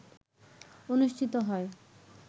অনুষ্ঠিত হয়